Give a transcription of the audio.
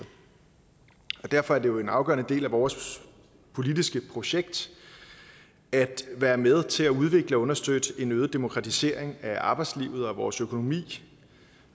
derfor er det jo en afgørende del af vores politiske projekt at være med til at udvikle og understøtte en øget demokratisering af arbejdslivet og vores økonomi